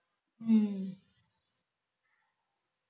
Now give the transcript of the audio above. ਹਮ